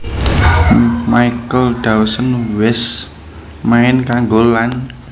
Michael Dawson wés main kanggo lan